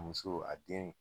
Muso a den